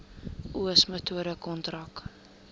oes metode kontrak